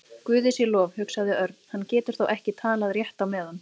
Guði sé lof, hugsaði Örn, hann getur þá ekki talað rétt á meðan.